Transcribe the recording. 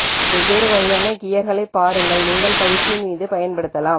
வெவ்வேறு வகையான கியர் களைப் பாருங்கள் நீங்கள் பயிற்சியின் மீது பயன்படுத்தலாம்